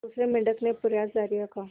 दूसरे मेंढक ने प्रयास जारी रखा